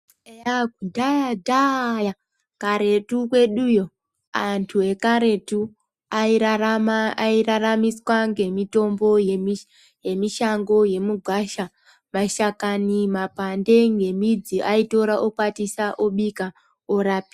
Eya kudhaya dhaya kuretu kweduyo antu ekaretu airarama airaramiswa ngemitombo yemishango yemigwasha mashakani mapande ngemidzi aitora okwatisa obika orape.